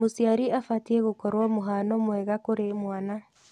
Mũciari abatiĩ gũkorwo mũhano mwega kũrĩ mwana.